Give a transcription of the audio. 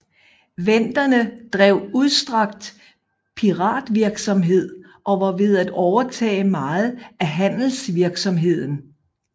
Venderne drev udstrakt piratvirksomhed og var ved at overtage meget af handelsvirksomheden